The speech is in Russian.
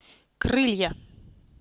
крылья